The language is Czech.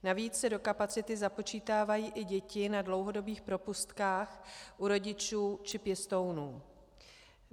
Navíc se do kapacity započítávají i děti na dlouhodobých propustkách u rodičů či pěstounů.